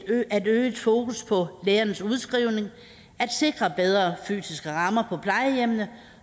øget fokus på lægernes udskrivning at sikre bedre fysiske rammer på plejehjemmene